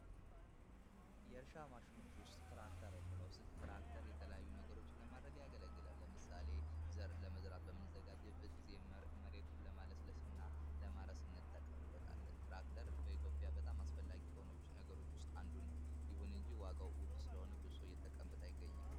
ከእርሻ ማሽኖች ውስጥ ትራክተር አንዱ ሲሆን ትራክተር የተለያዩ ነገሮችን ለማድረግ ያገለግላል። ለምሳሌ ዘር ለመዝራት በምንዘጋጅበት ጊዜ መሬትን ለማለስለስ እና ለማረስ እንጠቀምበታለን። ትራክተር በኢትዮጵያ በጣም አስፈላጊ ከሆኑ ነገሮች ውስጥ አንዱ ነው። ይሁን እንጂ ዋጋው ውድ ስለሆነ ብዙ ሰው እየተጠቀመበት አይገኝም።